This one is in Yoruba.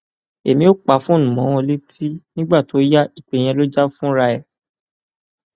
èmi ò pa fóònù mọ wọn létí nígbà tó yá ìpè yẹn ló jà fúnra ẹ